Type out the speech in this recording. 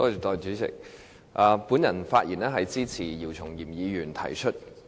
我發言是支持姚松炎議員提出的議案。